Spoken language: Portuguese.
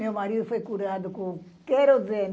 Meu marido foi curado com querosene.